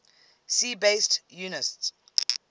si base units